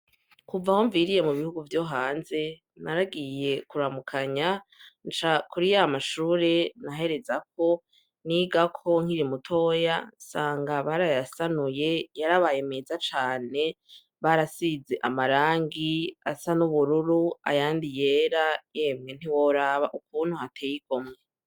Kuva aho mviriye mu gihugu vyo hanze naragiye kuramukanya, nca kuri ya mashure naherezako, nigako nkiri mutoya, nsanga barayasanuye, yarabaye meza cane. Barasize amarangi asa n'ubururu, ayandi yera, emwe ntiworaba ukuntu hateye igomwe.